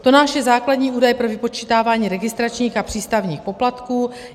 TONNAGE je základní údaj pro vypočítávání registračních a přístavních poplatků.